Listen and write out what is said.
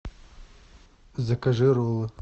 закажи роллы